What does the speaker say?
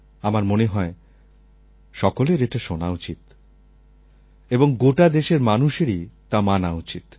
আমার মনে হয় সকলের এটা শোনা উচিত এবং গোটা দেশের মানুষেরই তা মানা উচিত